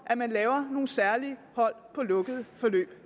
lave nogle særlige hold på lukkede forløb